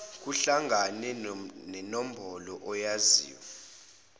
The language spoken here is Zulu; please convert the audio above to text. kuhlangane nenombolo oyaziyo